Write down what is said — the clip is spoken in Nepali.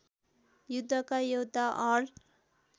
युद्धका योद्धा अर्ल